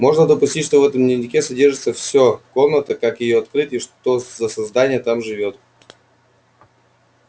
можно допустить что в этом дневнике содержится всё комната как её открыть и что за создание там живёт